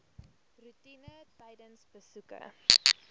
roetine tydens besoeke